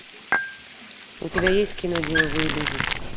у тебя есть кино деловые люди